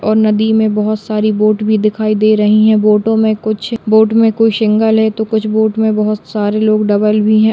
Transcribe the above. और नदी में बहुत सारी बोट भी दिखाई दे रहीं हैं। बोटों में कुछ बोट में कुछ सिंगल है तो कुछ बोट में बहुत सारे लोग डबल भी है।